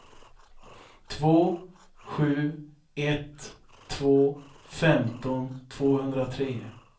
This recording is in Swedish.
två sju ett två femton tvåhundratre